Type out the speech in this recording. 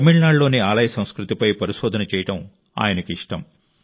తమిళనాడులోని ఆలయ సంస్కృతిపై పరిశోధన చేయడం ఆయనకు ఇష్టం